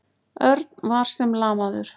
Örn var sem lamaður.